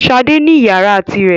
Ṣadé ní ìyàrá tirẹ̀.